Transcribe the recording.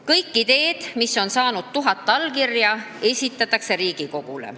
Kõik ideed, mis on saanud tuhat allkirja, esitatakse Riigikogule.